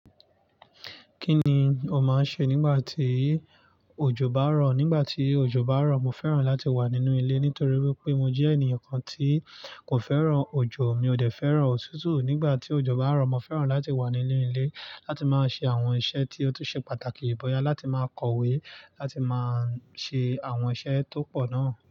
Kí ni o máa ń ṣe nígbà tí òjò bá rọ̀? Nígbà tí òjò bá rọ̀, mo fẹ́ràn láti wà nínú ilé nítorí wípé mo jẹ́ ènìyàn kan tí kò fẹ́ràn òjò̀, mi ò dẹ fẹ́ràn òtútù. Nígbà tí òjò bá rọ̀, mo fẹ́ràn láti wà nínú ilé láti máa ṣe àwọn iṣẹ́ tí ó tún ṣe pàtàkì bòya, láti máa kọ̀wé, láti máa ṣe àwọn iṣẹ́ tó pọ̀ náà.